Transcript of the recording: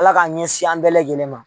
Ala k'a ɲɛsin an bɛɛ lajɛnen ma.